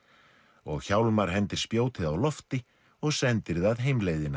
og Hjálmar hendir spjótið á lofti og sendir það